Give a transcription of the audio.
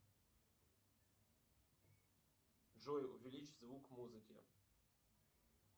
джой увеличь звук музыки